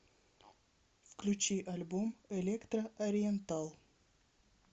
включи альбом электро ориентал